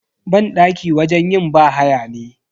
Banɗaki wajen yin bahaya ne.